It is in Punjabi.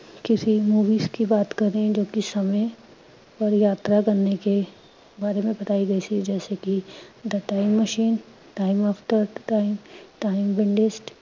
ਕਿਸੀ movies ਕੀ ਬਾਤ ਕਰੇਂ ਜੋ ਕਿ ਸਮੇਂ ਔਰ ਯਾਤਰਾ ਕਰਨੇ ਕੇ ਬਾਰੇ ਮੇਂ ਬਤਾਈ ਗਈ ਸੀ ਜੈਸੇ ਕਿ THE TIME MACHINE, TIME AFTER TIME